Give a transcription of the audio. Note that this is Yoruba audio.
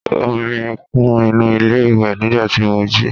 omi kún inú ilé iwe nigba tí mo jí